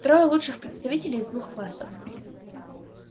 трое лучших представителей из двух классов